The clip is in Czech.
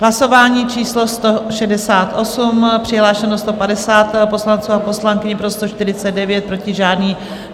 Hlasování číslo 168, přihlášeno 150 poslanců a poslankyň, pro 149, proti žádný.